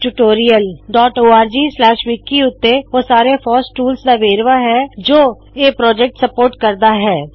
spoken tutorialorgਵਿਕੀ ਉੱਤੇ ਓਹ ਸਾਰੇ ਫੋਸ ਟੂਲਜ਼ ਟੂਲਸ ਦਾ ਵੇਰਵਾ ਹੈ ਜੋ ਇਹ ਪਾੱਜੈਕਟ ਸਪੋਰਟ ਕਰਦਾ ਹੈ